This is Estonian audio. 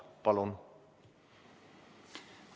Palun!